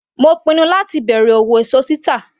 Mo pinnu láti bẹ̀rẹ̀ òwò èso títà.